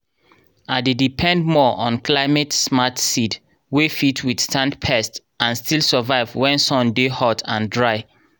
i dey depend more on climate-smart seed wey fit withstand pest and still survive when sun dey hot and dry.